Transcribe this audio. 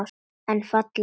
En fallegt úr.